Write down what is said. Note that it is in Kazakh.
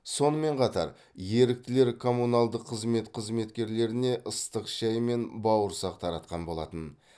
сонымен қатар еріктілер коммуналдық қызмет қызметкерлеріне ыстық шай мен бауырсақ таратқан болатын